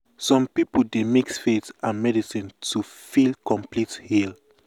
some people dey mix faith with medicine to feel complete heal.